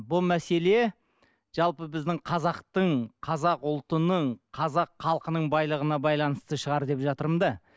бұл мәселе жалпы біздің қазақтың қазақ ұлтының қазақ халқының байлығына байланысты шығар деп жатырмын да